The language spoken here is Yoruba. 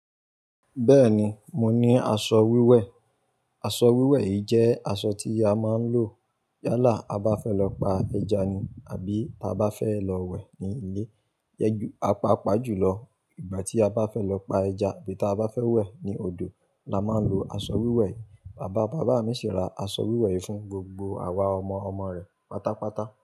Bẹ́ẹ̀ni, mo ní aṣọ wíwẹ̀. Aṣọ wíwẹ̀ yìí jẹ́ aṣọ tí a máa ń lò yálà a bá fẹ́ lọ pa ẹja ni àbí a bá fẹ́ lọ wẹ̀ ní ilé. Yẹ ju a paapà jùlọ ìgbà tí a bá fẹ́ lọ pa ẹja tàbí tí a bá fẹ́ wẹ̀ ní odò la máa ń lo aṣọ wíwẹ̀ yìí. Bàbá bàbá mi sì ra aṣọ wíwẹ̀ yìí fún gbogbo àwa ọmọ ọmọ rẹ̀ pátápátá.